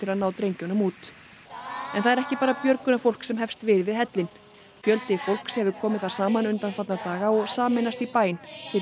að ná drengjunum út en það er ekki bara björgunarfólk sem hefst við við hellinn fjöldi fólks hefur komið þar saman undanfarna daga og sameinast í bæn fyrir